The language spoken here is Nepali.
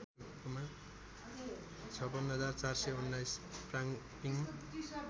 ५६ ४१९ प्रङप्रिङ